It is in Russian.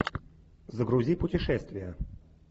загрузи путешествия